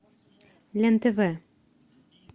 лен тв